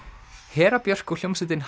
Hera Björk og hljómsveitin